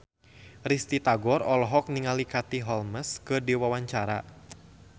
Risty Tagor olohok ningali Katie Holmes keur diwawancara